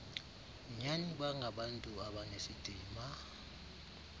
nyani bangabantu abanesidima